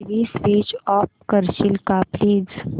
TV switch off करशील का please